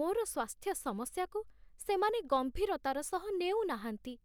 ମୋର ସ୍ୱାସ୍ଥ୍ୟ ସମସ୍ୟାକୁ ସେମାନେ ଗମ୍ଭୀରତାର ସହ ନେଉ ନାହାଁନ୍ତି।